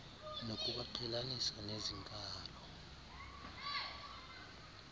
ngokubaqhelanisa nezi nkalo